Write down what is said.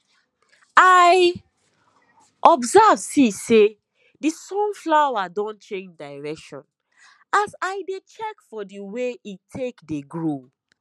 i observe see say the sunflower don change direction as i dey check for the way e take dey grow